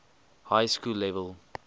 high school level